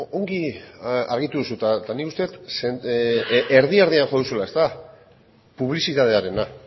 ongi argitu duzu eta nik uste dut erdi erdian jo duzula publizitatearena